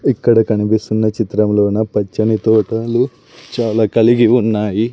ఇక్కడ కనిపిస్తున్న చిత్రంలోన పచ్చని తోటలు చాలా కలిగి ఉన్నాయి.